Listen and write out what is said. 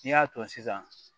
N'i y'a ton sisan